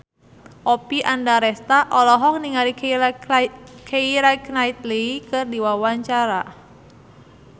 Oppie Andaresta olohok ningali Keira Knightley keur diwawancara